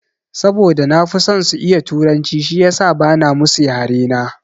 Saboda na fi son su iya turanci shiyasa bana musu yare na.